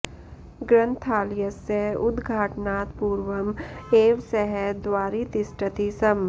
ग्रन्थालयस्य उदघाटनात् पूर्वम् एव सः द्वारि तिष्ठति स्म